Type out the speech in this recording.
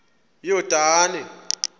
yordane